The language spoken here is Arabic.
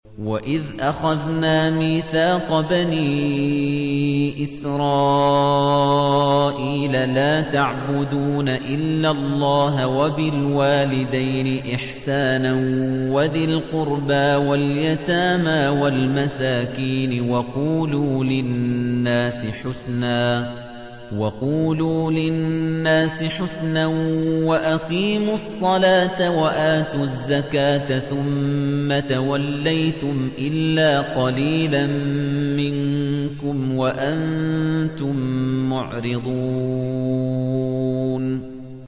وَإِذْ أَخَذْنَا مِيثَاقَ بَنِي إِسْرَائِيلَ لَا تَعْبُدُونَ إِلَّا اللَّهَ وَبِالْوَالِدَيْنِ إِحْسَانًا وَذِي الْقُرْبَىٰ وَالْيَتَامَىٰ وَالْمَسَاكِينِ وَقُولُوا لِلنَّاسِ حُسْنًا وَأَقِيمُوا الصَّلَاةَ وَآتُوا الزَّكَاةَ ثُمَّ تَوَلَّيْتُمْ إِلَّا قَلِيلًا مِّنكُمْ وَأَنتُم مُّعْرِضُونَ